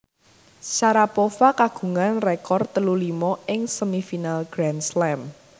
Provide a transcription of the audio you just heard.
Sharapova kagungan rekor telu limo ing semifinal Grand Slam